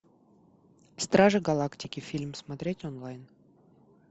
стражи галактики фильм смотреть онлайн